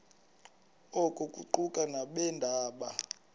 oku kuquka nabeendaba